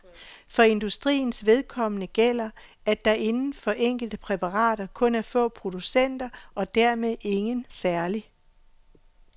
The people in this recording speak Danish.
For industriens vedkommende gælder, at der inden for enkelte præparater kun er få producenter og dermed ingen særlig